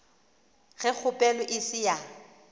ge kgopelo e se ya